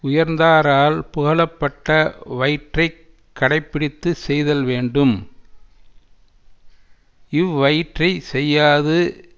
உயர்ந்தாரால் புகழப்பட்ட வயிற்றைக் கடை பிடித்து செய்தல்வேண்டும் இவ்வயிற்றைச் செய்யாது